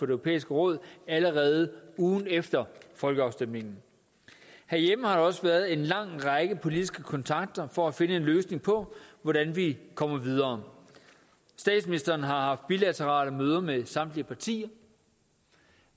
europæiske råd allerede ugen efter folkeafstemningen herhjemme har der også været en lang række politiske kontakter for at finde en løsning på hvordan vi kommer videre statsministeren har haft bilaterale møder med samtlige partier